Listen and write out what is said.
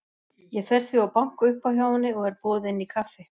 Ég fer því og banka upp á hjá henni og er boðið inn í kaffi.